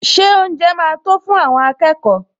Ṣé oúnjẹ máa tó fún àwọn akẹ́kọ̀ọ́?